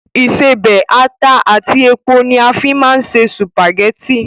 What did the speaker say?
Ìṣebẹ̀, ata àti epo ni a fín máa ń se sùpàgẹ́tì